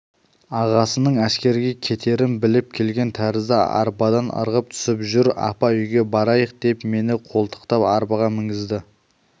ағасының әскерге кетерін біліп келген тәрізді арбадан ырғып түсіп жүр апа үйге барайық деп мені қолтықтап арбаға мінгізді